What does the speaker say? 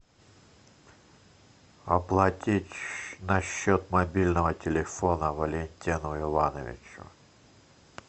оплатить на счет мобильного телефона валентину ивановичу